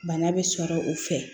Bana bɛ sɔrɔ o fɛ